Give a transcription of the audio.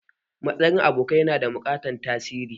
Matsin abokanai yana da matuƙan tasiri.